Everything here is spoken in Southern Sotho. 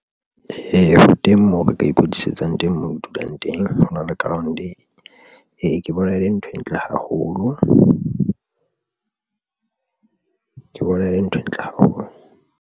Ee, ho teng moo re ka ikwetlisetsang teng moo ke dulang teng. Hona le ground ke bona ele nthwe ntle haholo ke bona ele nthwe ntle haholo.